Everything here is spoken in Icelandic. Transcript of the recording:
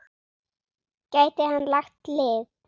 Gæti hann lagt lið?